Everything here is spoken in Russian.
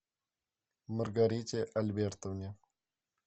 маргарите альбертовне